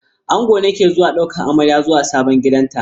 Angon ne ke zuwa daukan amarya zuwa sabon gidanta.